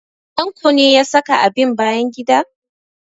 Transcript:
Tanko ne ya saka abin bayan gida?